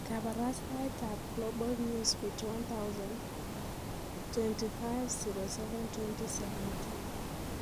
Kabarastaetab Global Newsbeat 1000 25/07/2017